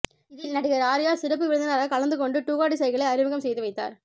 இதில் நடிகர் ஆர்யா சிறப்பு விருந்தினராக கலந்துகொண்டு டுகாடி சைக்கிளை அறிமுகம் செய்து வைத்தார்